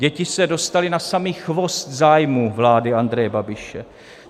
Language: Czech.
Děti se dostaly na samý chvost zájmů vlády Andreje Babiše.